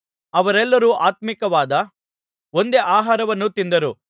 ಅವರೆಲ್ಲರೂ ಆತ್ಮೀಕವಾದ ಒಂದೇ ಆಹಾರವನ್ನು ತಿಂದರು